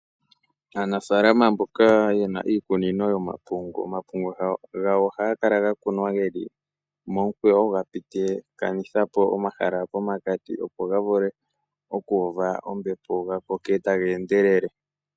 Aanafaalama mboka ye na iikunino yomapungu, omapungu gawo ohaga kala ga kunwa ge li momukweyo ga pititha po omahala pokati opo ga vule okuuva ombepo ga koke taga endelele.